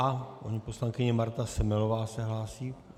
A paní poslankyně Marta Semelová se hlásí.